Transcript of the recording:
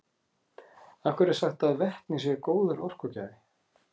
af hverju er sagt að vetni sé góður orkugjafi